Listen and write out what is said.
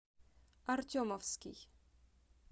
артемовский